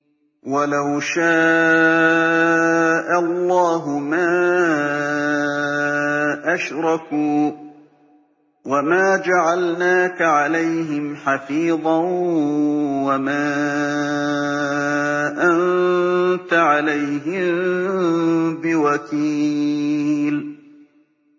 وَلَوْ شَاءَ اللَّهُ مَا أَشْرَكُوا ۗ وَمَا جَعَلْنَاكَ عَلَيْهِمْ حَفِيظًا ۖ وَمَا أَنتَ عَلَيْهِم بِوَكِيلٍ